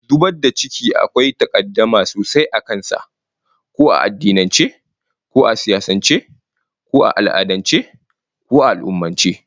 Zubar da ciki akwai takaddama sosai a kan sa, ko a addinance, ko a siyasance, ko a al'adance, ko a al'ummance